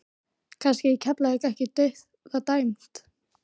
Kannski er Keflavík ekki dauðadæmt?